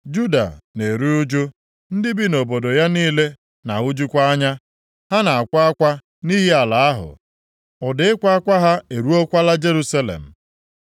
“Juda na-eru ụjụ, ndị bi nʼobodo ya niile na-ahụjukwa anya. Ha na-akwa akwa nʼihi ala ahụ, ụda ịkwa akwa ha eruokwala Jerusalem.